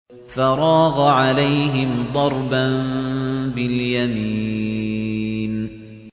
فَرَاغَ عَلَيْهِمْ ضَرْبًا بِالْيَمِينِ